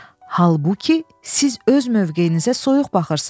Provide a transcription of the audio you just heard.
Halbuki, siz öz mövqeyinizə soyuq baxırsız.